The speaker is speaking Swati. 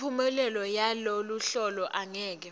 imiphumela yaloluhlolo angeke